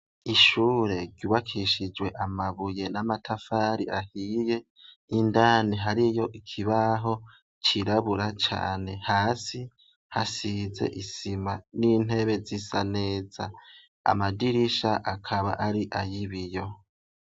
Ishure ryubakishijwe amabuye n'amatafari ahiye. Indani hariyo kibaho kirabura Cane hasi hasize isima n'intebe z'isa neza amadirisha akaba ari ayibiyo.